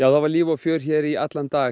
það var líf og fjör hér í allan dag